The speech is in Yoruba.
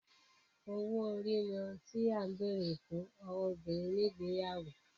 owó ori ní ohùn tí a béèrè fún ọwọ obìrin ní igbeyawo